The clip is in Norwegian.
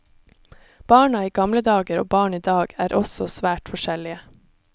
Barna i gamle dager og barn i dag er også svært forskjellige.